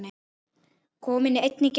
Kominn einn í gegn?